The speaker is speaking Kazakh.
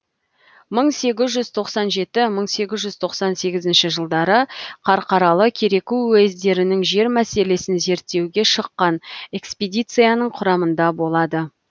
мың сегіз жүз тоқсан жеті мың сегіз жүз тоқсан сегізінші жылдары қарқаралы кереку уездерінің жер мәселесін зерттеуге шыққан экспедицияның құрамында болады